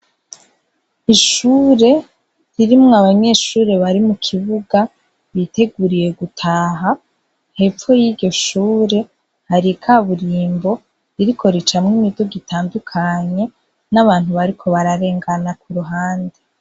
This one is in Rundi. Ishure ririmwo abanyeshure bari mu kibuga, biteguriye gutaha. Hepfo yiryo shure hari ikaburimbo ririko ricamwo imiduga itandukanye n'abantu bariko bararengana ku ruhande.